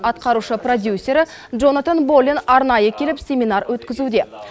атқарушы продюсері джонатан боллен арнайы келіп семинар өткізуде